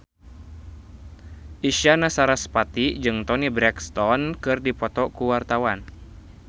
Isyana Sarasvati jeung Toni Brexton keur dipoto ku wartawan